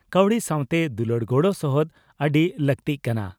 ᱠᱟᱹᱣᱰᱤ ᱥᱟᱣᱛᱮ ᱫᱩᱞᱟᱹᱲ ᱜᱚᱲᱚ ᱥᱚᱦᱚᱫ ᱟᱹᱰᱤ ᱞᱟᱹᱜᱛᱤᱜ ᱠᱟᱱᱟ ᱾